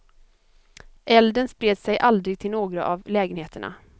Elden spred sig aldrig till några av lägenheterna.